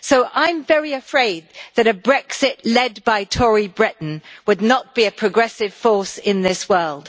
I am very afraid that a Brexit led by Tory Britain would not be a progressive force in this world.